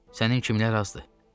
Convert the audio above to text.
Sənin kimilər azdır.